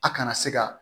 A kana se ka